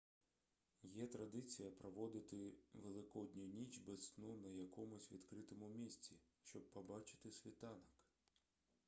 є традиція проводити великодню ніч без сну на якомусь відкритому місці щоби побачити світанок